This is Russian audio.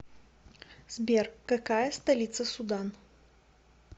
сбер какая столица судан